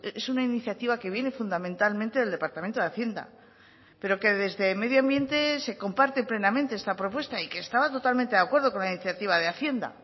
es una iniciativa que viene fundamentalmente del departamento de hacienda pero que desde medioambiente se comparte plenamente esta propuesta y que estaba totalmente de acuerdo con la iniciativa de hacienda